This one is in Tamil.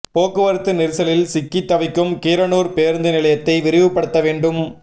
போக்குவரத்து நெரிசலில் சிக்கி தவிக்கும் கீரனூர் பேருந்து நிலையத்தை விரிவுபடுத்த வேண்டும்